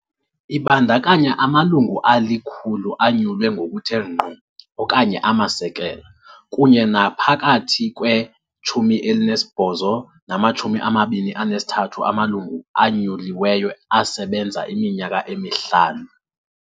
Ibandakanya amalungu ali-100 anyulwe ngokuthe ngqo, okanye amasekela, kunye naphakathi kwe-18 nama-23 amalungu anyuliweyo asebenza iminyaka emihlanu.